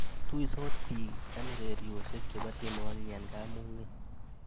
Tuisot biik eng urerioshe che bo tienwokik eng kamung'e.